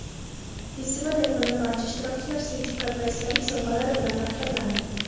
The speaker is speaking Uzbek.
Festival yakunida barcha ishtirokchilar sertifikat va esdalik sovg‘alari bilan taqdirlandilar.